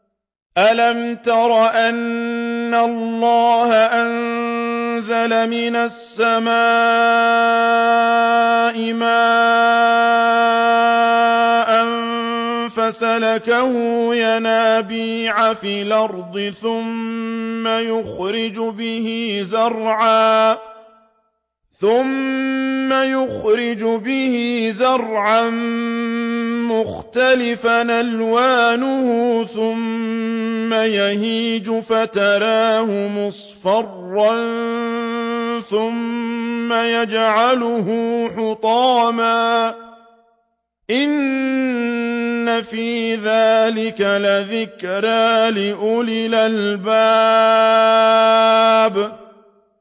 أَلَمْ تَرَ أَنَّ اللَّهَ أَنزَلَ مِنَ السَّمَاءِ مَاءً فَسَلَكَهُ يَنَابِيعَ فِي الْأَرْضِ ثُمَّ يُخْرِجُ بِهِ زَرْعًا مُّخْتَلِفًا أَلْوَانُهُ ثُمَّ يَهِيجُ فَتَرَاهُ مُصْفَرًّا ثُمَّ يَجْعَلُهُ حُطَامًا ۚ إِنَّ فِي ذَٰلِكَ لَذِكْرَىٰ لِأُولِي الْأَلْبَابِ